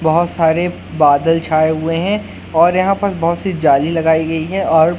बहोत सारे बादल छाए हुए हैं और यहां पर बहुत सी जाली लगाई गई है और--